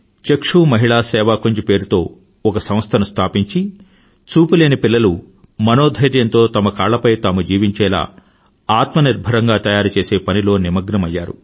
చక్షు మహిళా సేవాకుంజ్ పేరుతో ఒక సంస్థను స్థాపించి చూపు లేని పిల్లలు మనోధైర్యంతో తమ కాళ్లపై తాము జీవించేలా ఆత్మనిర్భరంగా తయారుచేసే పనిలో నిమగ్నమయ్యారు